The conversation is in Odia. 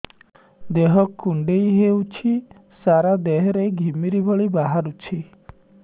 ଦେହ କୁଣ୍ଡେଇ ହେଉଛି ସାରା ଦେହ ରେ ଘିମିରି ଭଳି ବାହାରୁଛି